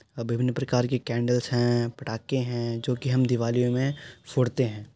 अ विभिन्न प्रकार की कैंडल्स हैं पटाके हैं जो कि हम दिवाली में फोड़ते हैं।